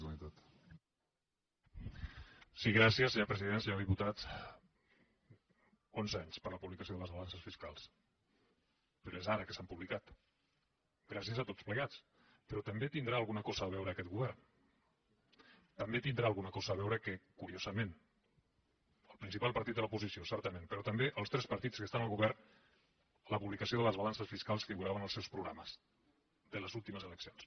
senyor diputat onze anys per a la publicació de les balances fiscals però és ara que s’han publicat gràcies a tots plegats però també hi deu tenir alguna cosa a veure aquest govern també hi deu tenir alguna cosa a veure que curiosament del principal partit de l’oposició certament però també dels tres partits que estan al govern la publicació de les balances fiscals figurava en els seus programes de les últimes eleccions